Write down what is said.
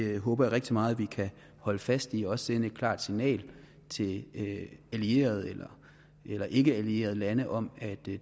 jeg håber rigtig meget at vi kan holde fast i også sende et klart signal til allierede eller ikkeallierede lande om at det